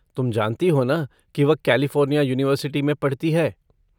तुम जानती हो ना कि वह कैलिफ़ोर्निया युनिवर्सिटी में पढ़ती है।